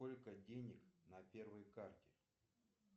сколько денег на первой карте